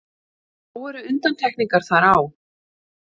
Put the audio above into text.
Þó eru undantekningar þar á.